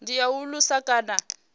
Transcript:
ndi ya u alusa kana